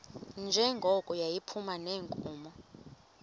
njengoko yayiphuma neenkomo